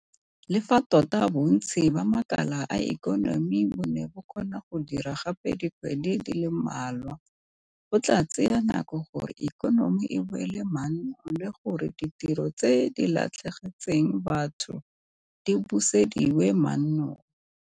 Le fa tota bontsi ba makala a ikonomi bo ne ba kgona go dira gape dikgwedi di le mmalwa, go tla tsaya nako gore ikonomi e boele mannong le gore ditiro tse di latlhegetseng batho di busediwe mannong.